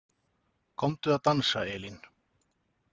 Komdu að dansa, Elín